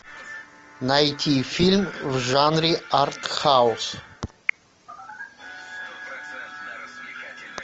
найти фильм в жанре арт хаус